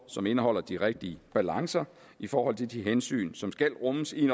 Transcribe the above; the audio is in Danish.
som indeholder den rigtige balance i forhold til de hensyn som skal rummes i